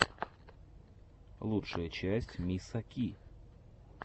лучшая часть миса ки